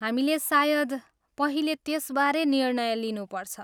हामीले सायद पहिले त्यसबारे निर्णय लिनुपर्छ।